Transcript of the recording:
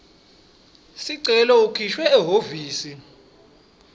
sicelo ukhishiwe ehhovisi